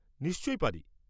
নিশ্চয়ই পারি।